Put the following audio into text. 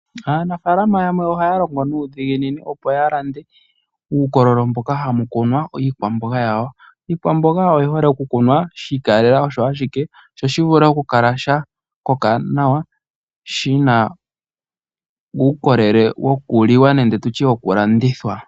Aanafaalama yamwe ohaya longo nuudhiginini opo yalande uukololo mboka hamu kunwa iikwamboga yawo . Iikwamboga oyi hole okukunwa shiikalela osho ashike sho shivule okukala sha koka nawa shina uukolele wokuliwa nenge tutye wokulandithwa.